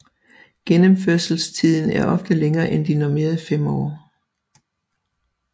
Gennemførelsestiden er ofte længere end de normerede fem år